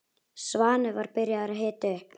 Svanur var byrjaður að hita upp.